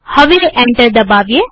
હવે એન્ટર દબાવીએ